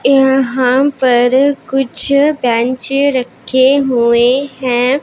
यहां पर कुछ बेंच रखे हुए हैं।